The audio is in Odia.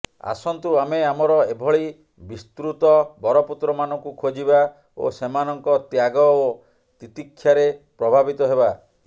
ଆସନ୍ତୁ ଆମେ ଆମର ଏଭଳି ବିସ୍ମୃତ ବରପୁତ୍ରମାନଙ୍କୁ ଖୋଜିବା ଓ ସେମାନଙ୍କ ତ୍ୟାଗ ଓ ତିତିକ୍ଷାରେ ପ୍ରଭାବିତ ହେବା